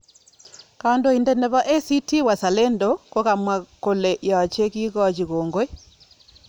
Kondoidet neboACT-Wazalendo kokamwa kole yoche kikochi kongoi.